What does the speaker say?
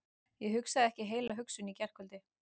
Ég hugsaði ekki heila hugsun í gærkvöldi.